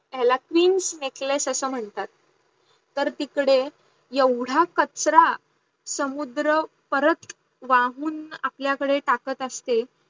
याला queens neklace अस मन्हतात. तर तिकडे येवडा कचरा समुदर परत वाहून आपल्या कडे टाकत असते